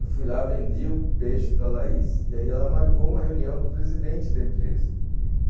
Eu fui lá, vendi o peixe para a Laís, e aí ela marcou uma reunião com o presidente da empresa.